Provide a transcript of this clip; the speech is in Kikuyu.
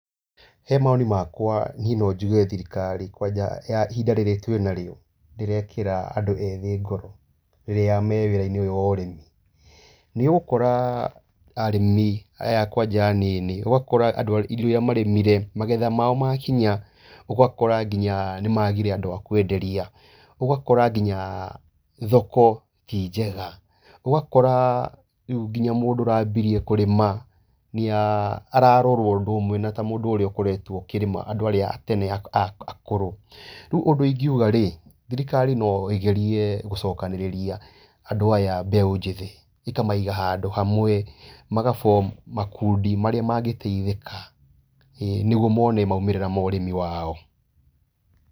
He mawoni makwa niĩ no njuge thirikari, kwanja ya ihinda rĩrĩ twĩnarĩo, ndĩrekĩra andũ ethĩ ngoro rĩrĩa me wĩra-inĩ ũyũ wa ũrĩmi. Nĩ ũgũora arĩmi, aya kwanja anini, ũgakora indo irĩa marĩmire, magetha mao makinya ũgakora nginya nĩ magire andũ a kwenderia. Ũgakora nginya thoko ti njega. Ũgakora rĩu ngiya mũndũ arambirie kũrĩma, ararorwo ũndũ ũmwe na andũ arĩa marambirie kũrĩma, andũ arĩa atene akũrũ. Rĩu ũndũ ingiga, thirikari no ĩgerie gũcokanĩrĩria andũ aya mbeũ njĩthĩ, ĩkamaiga handũ hamwe, maga form makundi marĩa mangĩteithĩka nĩguo mone maumĩrĩra ma ũrĩmi wao.